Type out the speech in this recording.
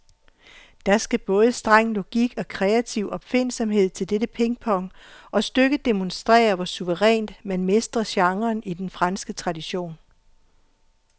Der skal både streng logik og kreativ opfindsomhed til dette pingpong, og stykket demonstrerer, hvor suverænt man mestrer genren i den franske tradition.